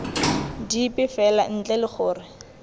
dipe fela ntle le gore